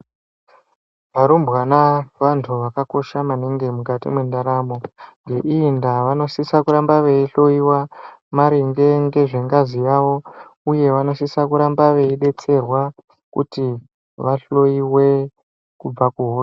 Varumbwana vantu zvakakosha maningi mukati mendaramo ngeiyi nda vanosisa kuramba veihloiwa maringe Ngezvengazi yawo uye vanosisa kuramba veidetserwa kuti vahloiwe kubva kuhosha.